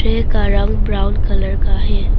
Tray का रंग brown colour का है।